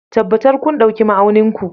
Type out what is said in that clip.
Tabbatar kun ɗauki ma'aunin ku